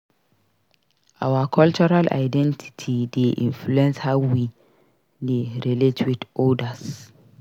Our cultural identity dey influence how we dey relate with odas.